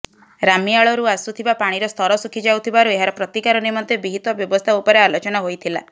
ରାମିଆଳରୁ ଆସୁଥିବା ପାଣିର ସ୍ତର ଶୁଖି ଯାଉଥିବାରୁ ଏହାର ପ୍ରତିକାର ନିମନ୍ତେ ବିହିତ ବ୍ୟବସ୍ଥା ଉପରେ ଆଲୋଚନା ହୋଇଥିଲା